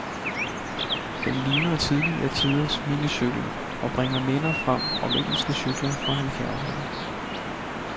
Den ligner tidligere tiders minicykel, og bringer minder frem om engelske cykler fra halvfjerdserne.